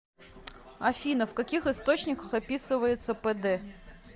афина в каких источниках описывается пд